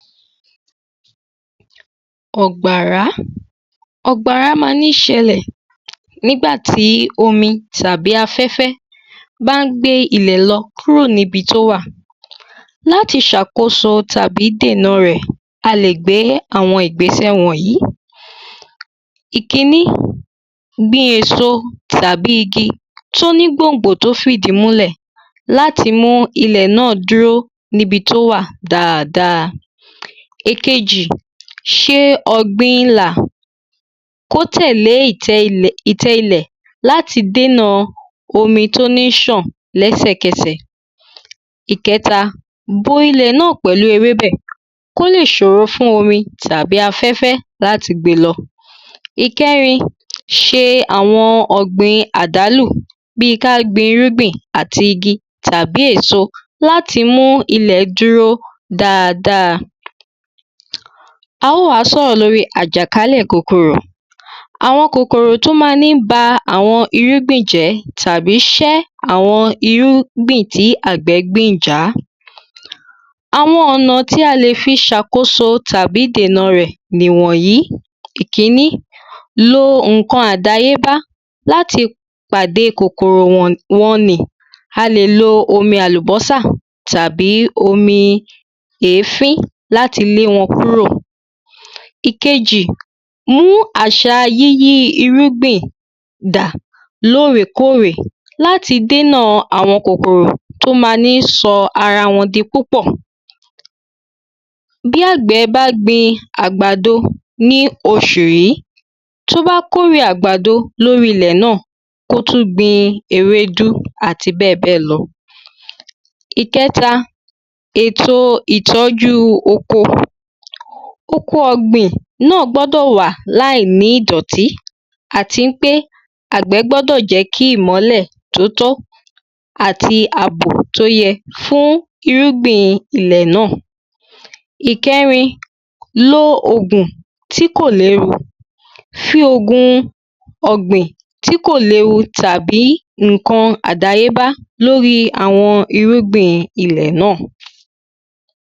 àgbàrá àgbàrá ma ní ṣẹlẹ̀ nígbàtí omi tàbí afẹ́fẹ́ bá gbé ilẹ̀ lọ kúrò níbi tó wà láti sàkóso tàbí dènà rẹ̀ a lè gbé àwọn ìgbésẹ̀ wònyí ìkíní gbin èso tàbí igi tí ó ní gbòǹgbò tó fìdí múlẹ̀ láti mú ilẹ̀ náà dúró níbi tó wà dáadáa. ìkejì, ṣe ọ̀gbin ilà kó tẹ̀lé ìtẹ́ ilẹ̀ ìtẹ́ ilẹ̀ láti déna omi tó ní sàn lẹ́sèkẹsẹ̀ ìkẹta bo ilẹ̀ náà pẹ̀lú ewébẹ̀ kó lè ṣòro fún omi tàbí afẹ́fẹ́ láti gbé e lọ ìkẹrin ṣe àwọn ọ̀gbìn àdálò bíi ká gbín irúgbìn àti igi tàbí èso láti mú ilẹ̀ dúró dáadáa à ó wá sọ̀rọ̀ lórì àjàkálẹ̀ kòkòrò àwọn kòkòrò tó máa mí ba àwọn irúgbìn jẹ́ tàbí ṣẹ́ àwọn irúgbìn tí àgbẹ̀ gbìn já àwọn ọ̀na tí a lè fi ṣàkóso tàbí dènà rẹ̀ nìwọ̀nyí ìkíní, lo ǹkan àdáyébá láti pàde kòkòrò wọn wọn nì a lè lo omi àlùbọ́sà tàbí omi èéfín láti le wọ́n kúrò ìkejì mú àṣa yíyí irúgbìn dà lóorèkórè láti dínà àwọn kókòrò tó máa ni sọ ara wọn di púpọ̀ bí àgbẹ̀ bá gbin àgbàdo ní oṣù yí tó bá kórè àgbàdo lóri ilẹ̀ náà kó tún gbin ewédú àti bẹ́ẹ̀béẹ̀ lọ ìkẹta, èto ìtọ́jú oko oko ọ̀gbìn náà gbọ́dọ̀ wà láì ní ìdọ̀tí àti wípé àgbẹ̀ gbọ́dọ́ jẹ́ kí ìmọ́lẹ̀ tóótó àti àbò tí ó yẹ fún irúgbìn ilẹ̀ náà ìkẹ́rin, lo ògùn tí kò léwu fi ògún ọ̀gbín tí kò léwu tàbí ǹkan àdáyébá lóri àwọn irúgbìn ilẹ̀ náà